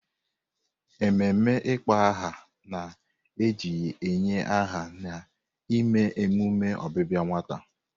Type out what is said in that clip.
Ememe ịkpọ aha na-eji inye aha na-eme emume ọbịbịa nwata.